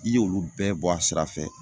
I y'olu bɛɛ bɔ a sira fɛ.